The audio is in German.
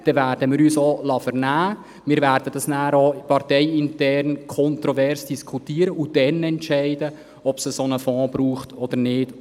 Dann werden wir uns auch vernehmen lassen, das Gesetz parteiintern kontrovers diskutieren und dann entscheiden, ob es einen solchen Fonds braucht oder nicht.